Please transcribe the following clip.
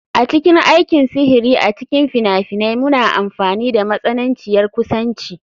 A cikin aikin sihiri a cikin fina-finai muna amfani da matsananciyar kusanci.